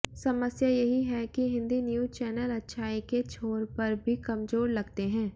समस्या यही है कि हिन्दी न्यूज चैनल अच्छाई के छोर पर भी कमजोर लगते हैं